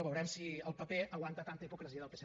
veurem si el paper aguanta tanta hipocresia del psc